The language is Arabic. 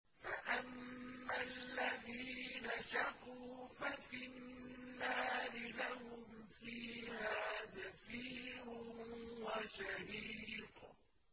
فَأَمَّا الَّذِينَ شَقُوا فَفِي النَّارِ لَهُمْ فِيهَا زَفِيرٌ وَشَهِيقٌ